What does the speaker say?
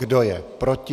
Kdo je proti?